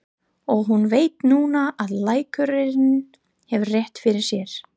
Og hún veit núna að læknirinn hefur rétt fyrir sér.